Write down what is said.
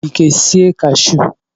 cashu nwere ike sie ya.